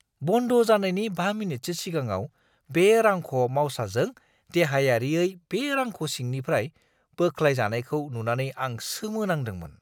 बन्द जानायनि 5 मिनिटसो सिगाङाव बे रांख'-मावसाजों देहायारियै बे रांख' सिंनिफ्राय बोख्लायजानायखौ नुनानै आं सोमोनांदोंमोन!